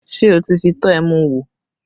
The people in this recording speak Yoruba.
Ṣé ẹ ti fi tọ́ ẹmu wò?